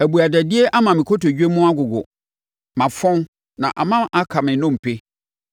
Abuadadie ama me kotodwe mu agogo; mafɔn na ama aka me nnompe.